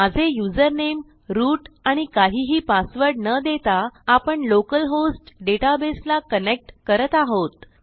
माझे username root आणि काहिही पासवर्ड न देता आपण लोकल hostडेटाबेसला कनेक्ट करत आहोत